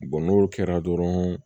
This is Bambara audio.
n'o kɛra dɔrɔn